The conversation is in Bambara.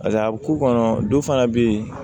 Paseke a bɛ k'u kɔnɔ dɔ fana bɛ yen